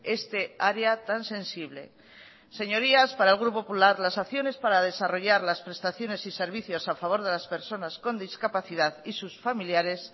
este área tan sensible señorías para el grupo popular las acciones para desarrollar las prestaciones y servicios a favor de las personas con discapacidad y sus familiares